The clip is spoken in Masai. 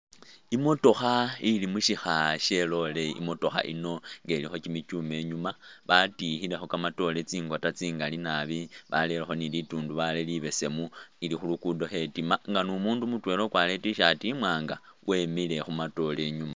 Imotokha ilimu shikha shelole, imotokha yino nga ilikho kimichuma inyuma batikhilekho kamatoore tsingoota tsingali naabi balerekho ni litundubali libesemu ili khulugudo khetima nga numundu mutwela ukwalire it-shirt imwaanga wemile khumatoore inyuma